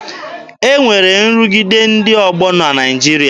E nwere nrụgide ndị ọgbọ na Naịjirịa.